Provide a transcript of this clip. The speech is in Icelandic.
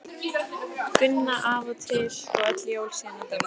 Gunna af og til og öll jól síðan hann dó.